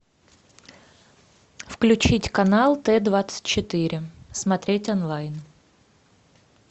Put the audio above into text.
включить канал т двадцать четыре смотреть онлайн